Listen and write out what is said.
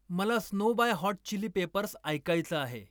मला snow by hot chili peppers ऐकायचं आहे